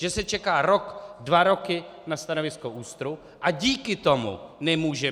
Že se čeká rok, dva roky na stanovisko ÚSTR, a díky tomu nemůže